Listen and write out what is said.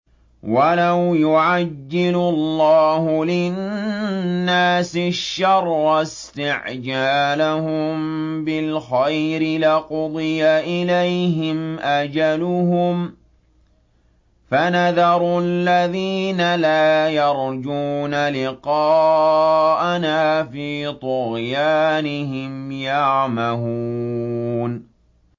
۞ وَلَوْ يُعَجِّلُ اللَّهُ لِلنَّاسِ الشَّرَّ اسْتِعْجَالَهُم بِالْخَيْرِ لَقُضِيَ إِلَيْهِمْ أَجَلُهُمْ ۖ فَنَذَرُ الَّذِينَ لَا يَرْجُونَ لِقَاءَنَا فِي طُغْيَانِهِمْ يَعْمَهُونَ